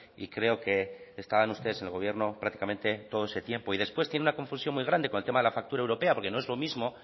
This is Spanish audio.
y creo que estaban ustedes en el gobierno prácticamente todo ese tiempo y después tiene una confusión muy grande con el tema de la factura europea porque no es lo mismo